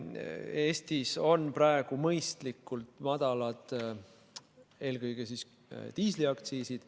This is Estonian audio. Eestis on praegu mõistlikult madalad eelkõige diisliaktsiisid.